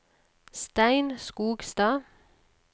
Stein Skogstad